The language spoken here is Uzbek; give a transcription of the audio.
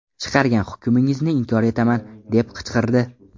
Chiqargan hukmingizni inkor etaman” deb qichqirdi.